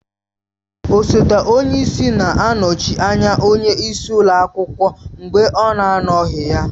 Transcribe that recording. Osote onye isi na-anọchi anya onye isi ụlọ akwụkwọ mgbe ọ na anọghị ya.